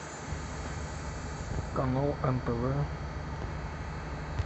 канал нтв